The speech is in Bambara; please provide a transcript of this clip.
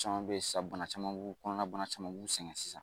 Caman be sa bana caman b'u kɔnɔna bana caman b'u sɛgɛn sisan